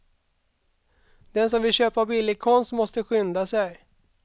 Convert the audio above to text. Den som vill köpa billig konst måste skynda sig.